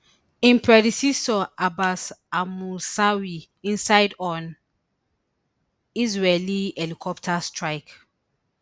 im predecessor abbas almusawi inside on israeli helicopter strike